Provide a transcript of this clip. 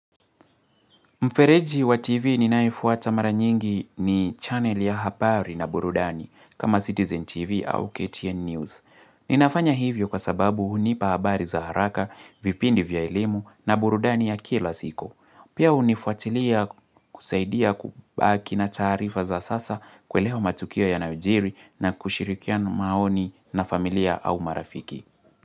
Mfereji wa TV ninayefuata mara nyingi ni channel ya habari na burudani, kama Citizen TV au KTN News. Ninafanya hivyo kwa sababu hunipa habari za haraka, vipindi vya elimu na burudani ya kila siku siko. Pia hunifuatilia kusaidia kubaki na taarifa za sasa kuelewa matukio yanayojiri na kushirikiana maoni na familia au marafiki.